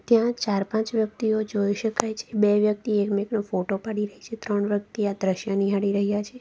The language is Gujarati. ત્યાં ચાર પાંચ વ્યક્તિઓ જોઈ શકાય છે બે વ્યક્તિ એક બેનનો ફોટો પાડી રહી છે ત્રણ વ્યક્તિ આ દ્રશ્ય નિહાળી રહ્યા છે.